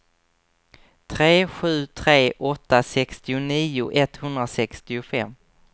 tre sju tre åtta sextionio etthundrasextiofem